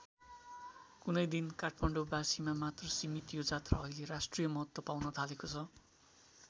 कुनै दिन काठमाडौँ बासीमा मात्र सीमित यो जात्रा अहिले राष्ट्रिय महत्त्व पाउन थालेको छ।